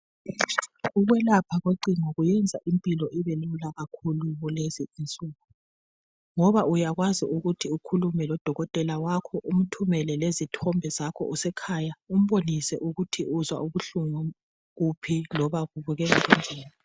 Ukwelapha kocingo kwenza impilo ibelula kakhulu kulezi insuku ngoba uyakwazi ukukhuluma lodokotela wakho umthumele lezithombe zakho usekhaya umbonise ukuthi uzwa ubuhlungu kuphi loba kubukeka njani